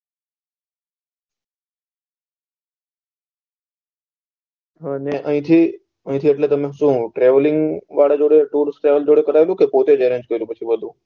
અને આયા થી તમે શું traveling માં જોડે tools traveling જોડે કરાયેલું કે પોતે જ arrange કર્યું તું બધું